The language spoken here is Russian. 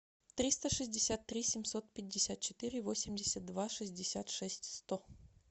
триста шестьдесят три семьсот пятьдесят четыре восемьдесят два шестьдесят шесть сто